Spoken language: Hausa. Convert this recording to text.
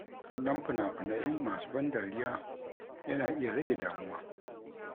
Kallon fina-finai masu ban dariya, yana iya rage damuwa.